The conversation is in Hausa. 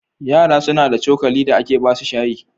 Yara suna da cokali da ake ba su shayi.